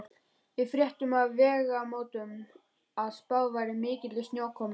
Við fréttum á Vegamótum að spáð væri mikilli snjókomu.